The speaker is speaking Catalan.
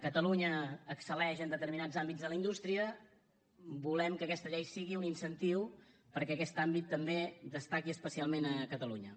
catalunya excel·leix en determinats àmbits de la indústria volem que aquesta llei sigui un incentiu perquè aquest àmbit també destaqui especialment a catalunya